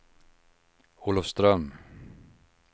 Olofström